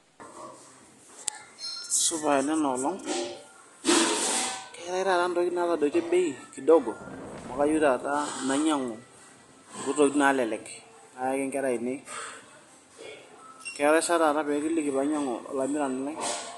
Supa enena olong, jio kayieu taata intokitin naatadoitie bei kidogo kayieu taata nainyiang'u inkuti tokitin naalelek nayaki ingera ainei keetai saa taa peekiliki painying'u olainyiang'ani lai.